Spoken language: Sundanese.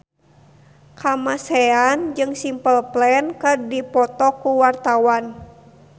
Kamasean jeung Simple Plan keur dipoto ku wartawan